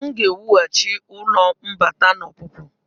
M ga-ewughachi ụlọ mbata na ọpụpụ.